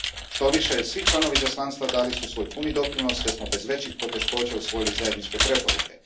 Štoviše, svi članovi izaslanstva dali su svoj puni doprinos te smo bez većih poteškoća usvojili zajedničke preporuke.